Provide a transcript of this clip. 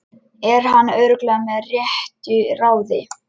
Er hann örugglega með réttu ráði?